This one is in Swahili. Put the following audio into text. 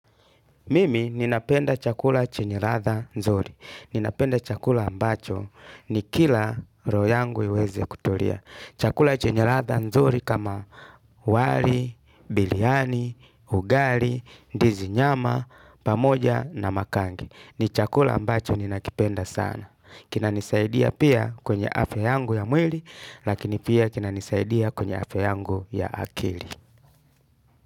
Mimi ninapenda chakula chenye ladha nzuri. Ninapenda chakula ambacho nikila roho yangu iweze kutulia. Chakula chenye ladha nzuri kama wali, biriani, ugali, ndizi nyama, pamoja na makangi. Ni chakula ambacho ninakipenda sana. Kina nisaidia pia kwenye afya yangu ya mwili, lakini pia kina nisaidia kwenye afya yangu ya akili.